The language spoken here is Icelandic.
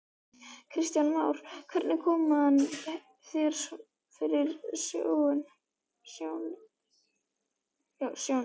Kristján Már: Hvernig kom hann þér fyrir sjónir?